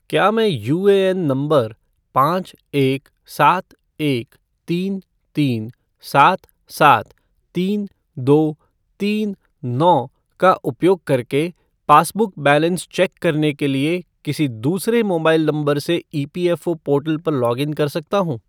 क्या मैं UAN number पाँच एक सात एक तीन तीन सात सात तीन दो तीन नौ का उपयोग करके पासबुक बैलेंस चेक करने के लिए किसी दूसरे मोबाइल नंबर से ईपीएफ़ओ पोर्टल पर लॉग इन कर सकता हूँ?